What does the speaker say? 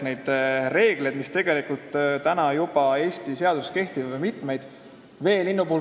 Neid reegleid, mis Eesti seaduse järgi juba kehtivad, on mitmeid.